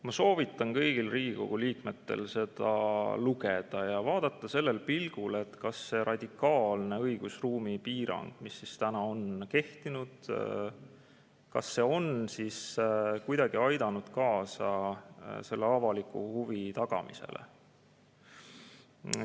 Ma soovitan kõigil Riigikogu liikmetel seda lugeda ja vaadata selle pilguga, kas see radikaalne õigusruumi piirang, mis tänaseni on kehtinud, on kuidagi aidanud kaasa selle avaliku huvi tagamisele.